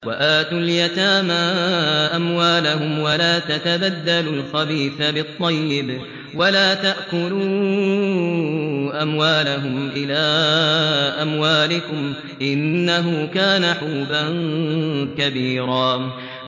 وَآتُوا الْيَتَامَىٰ أَمْوَالَهُمْ ۖ وَلَا تَتَبَدَّلُوا الْخَبِيثَ بِالطَّيِّبِ ۖ وَلَا تَأْكُلُوا أَمْوَالَهُمْ إِلَىٰ أَمْوَالِكُمْ ۚ إِنَّهُ كَانَ حُوبًا كَبِيرًا